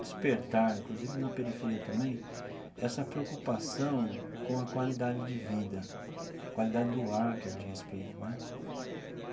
despertar, inclusive na periferia também, essa preocupação com a qualidade de vida, qualidade do ar que a gente respira né.